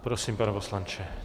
Prosím, pane poslanče.